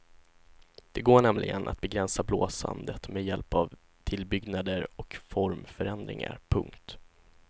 Det går nämligen att begränsa blåsandet med hjälp av tillbyggnader och formförändringar. punkt